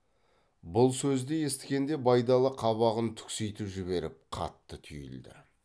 бұл сөзді есіткенде байдалы қабағын түкситіп жіберіп қатты түйілді